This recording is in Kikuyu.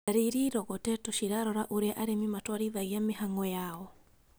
Ndari irĩa irogotetwo cirarora ũrĩa arĩmi matwarithagia mĩhang'o yao